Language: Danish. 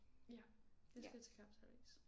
Ja jeg skal til kapsejlads